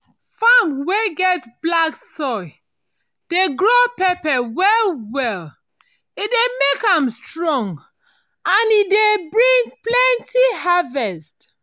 farm wey get black soil dey grow pepper well well e dey make am strong and e dey bring plenty harvest